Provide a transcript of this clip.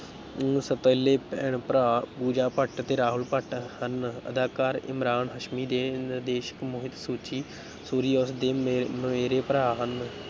ਦੋ ਸੌਤੇਲੇ ਭੈਣ ਭਰਾ, ਪੂਜਾ ਭੱਟ ਅਤੇ ਰਾਹੁਲ ਭੱਟ ਹਨ, ਅਦਾਕਾਰ ਇਮਰਾਨ ਹਾਸ਼ਮੀ ਅਤੇ ਨਿਰਦੇਸ਼ਕ ਮੋਹਿਤ ਸੂਚੀ ਸੂਰੀ ਉਸ ਦੇ ਮ ਮਮੇਰੇ ਭਰਾ ਹਨ,